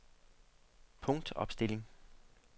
punktopstilling